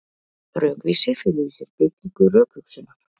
Rökvísi felur í sér beitingu rökhugsunar.